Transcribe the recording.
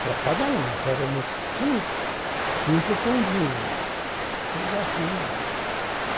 Para cada um, eramos cinco cinco pãozinhos.